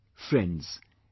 Friends,